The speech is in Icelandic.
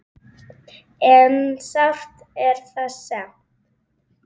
En sárt er það samt.